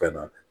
Fɛn na